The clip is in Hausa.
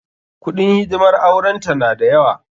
Kuɗin hidimar auren ta na da yawa.